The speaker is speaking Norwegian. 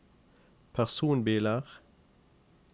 personbiler